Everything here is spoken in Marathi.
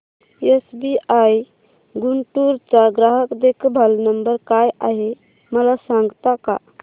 एसबीआय गुंटूर चा ग्राहक देखभाल नंबर काय आहे मला सांगता का